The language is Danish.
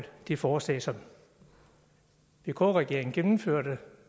det forslag som vk regeringen gennemførte